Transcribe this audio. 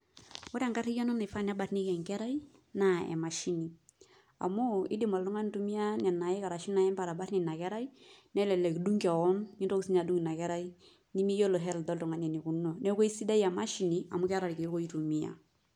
Ore enkarriyiano naifaa nebarnieki enkerai, naa emashini. Amu idim oltung'ani aitumia nena aik ashu inaembe atabarnie inakerai, nelelek idung' keon nintoki sinye adung' inakerai, nimiyiolo health oltung'ani enikununo. Neeku aisidai emashini amu keeta irkeek oitumia.